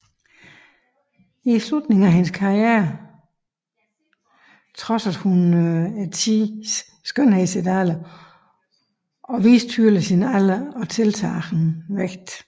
I slutningen af hendes karriere trodsede hun tidens skønhedsidealer og viste tydeligt sin alder og tiltagende vægt